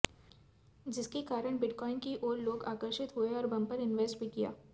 जिसके कारण बिटकॉइन की ओर लोग आकर्षित हुए और बंपर इन्वेस्ट भी किया